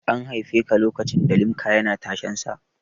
An haifeka lokacin da Limca yana tashensa?